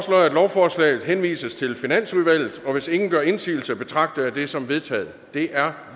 lovforslaget henvises til finansudvalget hvis ingen gør indsigelse betragter jeg dette som vedtaget det er